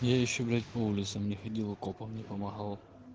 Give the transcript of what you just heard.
я ещё блять по улицам не ходил и копам не помогал